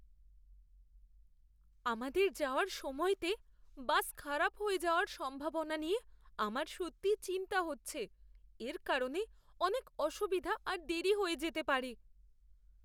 আমাদের যাওয়ার সময়তে বাস খারাপ হয়ে যাওয়ার সম্ভাবনা নিয়ে আমার সত্যি চিন্তা হচ্ছে, এর কারণে অনেক অসুবিধা আর দেরী হয়ে যেতে পারে!